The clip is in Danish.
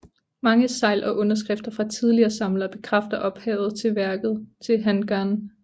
Mange segl og underskrifter fra tidligere samlere bekræfter ophavet til værket til Han Gan